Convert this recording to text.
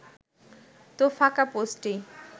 তো ফাঁকা পোস্টেই